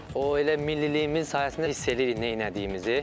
O, elə milliliyimiz sayəsində hiss eləyirik nə elədiyimizi.